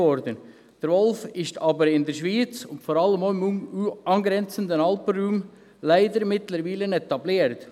Der Wolf ist aber mittlerweile leider in der Schweiz und vor allem auch im angrenzenden Alpenraum etabliert.